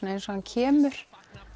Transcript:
eins og hann kemur